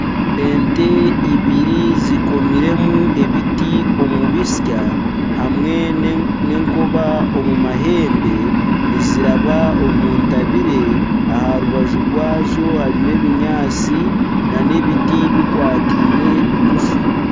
Ente eibiri zikomiremu ebiti omu bitsya hamwe n'enkoba omu mahembe niziraba omu ntabire. Aha rubaju rwazo harimu ebinyaatsi nana ebiti bikwataine bigufu.